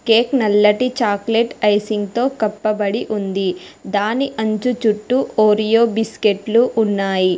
Cake నల్లటి chocolate తో కప్పబడి ఉంది దాని అంచు చుట్టూ ఓరియో బిస్కెట్లు ఉన్నాయి.